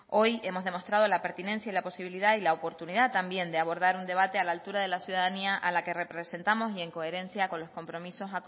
hoy hemos demostrado la pertinencia la posibilidad y la oportunidad también de abordar un debate a la altura de la ciudadanía a la que representamos y en coherencia con los compromisos